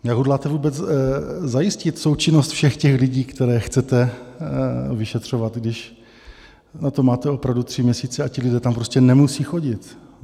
Jak hodláte vůbec zajistit součinnost všech těch lidí, které chcete vyšetřovat, když na to máte opravdu tři měsíce a ti lidé tam prostě nemusí chodit?